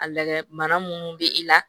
A lagɛ mana munnu be i la